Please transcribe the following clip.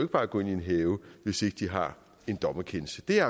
bare gå ind i en have hvis ikke de har en dommerkendelse det er